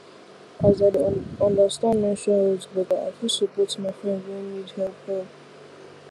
as i understand menstrual health better i fit support my friend wey need help help